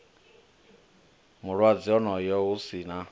mulwadze onoyo hu si na